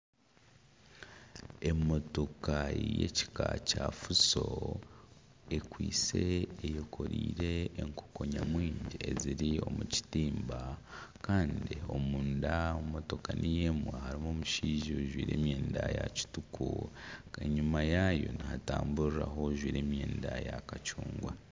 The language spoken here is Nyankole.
Emotoka ky'ekika kya fuso ekwitse eyekoreire enkoko nyamwingi eziri omu kitimba Kandi omunda omu motoka niyo emwe harimu omushaija ajwaire emyenda ya kituku. Kanyima yayo nihatamburiraho ojwaire emyenda ya kicungwa.